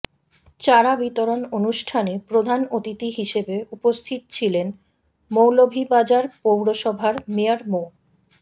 চারা বিতরণ অনুষ্ঠানে প্রধান অতিথি হিসেবে উপস্থিত ছিলেন মৌলভীবাজার পৌরসভার মেয়র মো